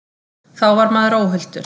Þá var maður óhultur.